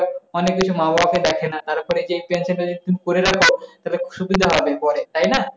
অনেক কিছু মা-বাপের দেখে না। তারপরে যে pension টা তুমি যদি করে রাখ তাহলে, সুবিধা হবে পরে। তাই না?